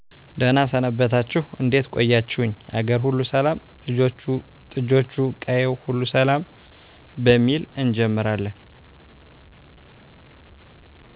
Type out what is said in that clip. ደህና ሰነበታችሁ እዴት ቆያችሁኝ አገርሁሉ ሰላም ልጆቹ ጥጆቹ ቀየው ሁሉ ሰላም በሚል እጀምራለን